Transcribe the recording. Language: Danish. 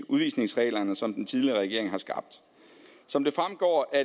i udvisningsreglerne som den tidligere regering har skabt som det fremgår af